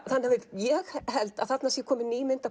ég held að þarna sé komin ný mynd af